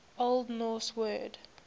old norse word